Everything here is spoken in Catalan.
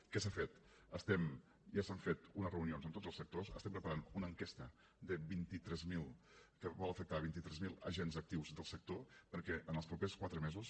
què s’ha fet ja s’han fet unes reunions amb tots els sectors estem preparant una enquesta que vol afectar vint tres mil agents actius del sector perquè en els propers quatre mesos